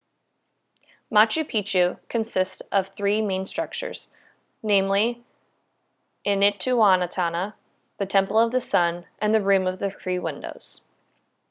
machu picchu consist of three main structures namely intihuatana the temple of the sun and the room of the three windows